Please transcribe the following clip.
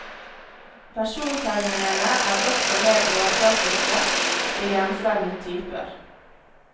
Persontegningene er også mer overfladiske, de grenser mot typer.